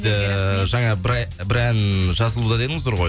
ыыы жаңа бір ән жазылуда дедіңіздер ғой